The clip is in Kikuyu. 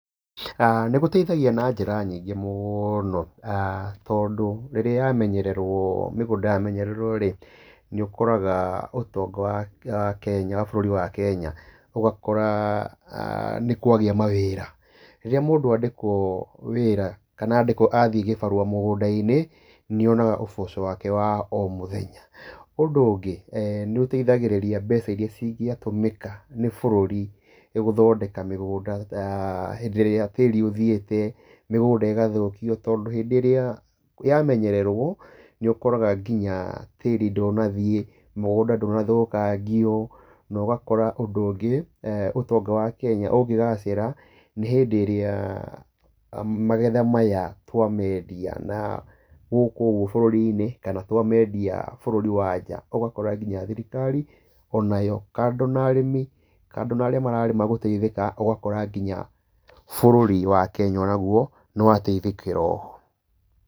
aah Nĩgũteithagia na njĩra nyingĩ mũno, tondũ rĩrĩa yamenyererwo mĩgũnda yamenyererwo rĩ, nĩ ũkoraga ũtonga wa Kenya, wa bũrũri wa Kenya ũgakora nĩkwagĩa mawĩra. Rĩrĩa mũndũ andĩkwo wĩra, kana andĩkwo athiĩ gĩbarũa mũgũnda-inĩ, nĩ onaga ũboco wake wa o mũthenya. Ũndũ ũngĩ, nĩ ũteithagĩrĩria mbeca irĩa cingĩatũmĩka nĩ bũrũri, gũthodeka mĩgũnda ta hĩndĩ ĩrĩa tĩĩri ũthiĩte, mĩgũnda ĩgathũkio, tondũ hĩndĩ ĩrĩa yamenyererwo, nĩ ũkoraga nginya tĩĩri ndũnathiĩ, mũgũnda ndũnathũkangio, na ũgakora ũndũ ũngĩ, ũtonga wa Kenya ũngĩgacĩra, nĩ hĩndĩ ĩrĩa magetha maya twamendia na gũkũ ũguo bũrũri-inĩ, kana twamendia bũrũri wa nja. Ũgakora nginya thirikari onayo, kando na arĩmi kando na arĩa mararĩma gũteithĩka, ũgakora nginya bũrũri wa Kenya ona guo, nĩ wateithĩkĩra o ho.